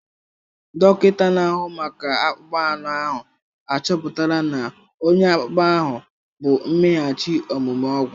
Dọkịta na-ahụ maka akpụkpọ anụ ahụ achọpụtala na ọnya akpụkpọ ahụ bụ mmeghachi omume ọgwụ.